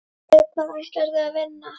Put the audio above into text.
Við hvað ætlarðu að vinna?